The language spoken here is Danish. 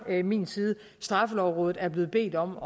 min side straffelovrådet er blevet bedt om